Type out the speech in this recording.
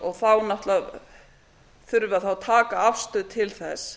og þá náttúrlega þurfum við að taka afstöðu til þess